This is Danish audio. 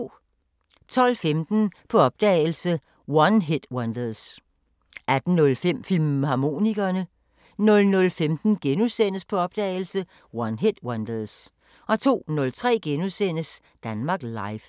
12:15: På opdagelse – One-Hit-Wonders 18:05: Filmharmonikerne 00:15: På opdagelse – One-Hit-Wonders * 02:03: Danmark Live *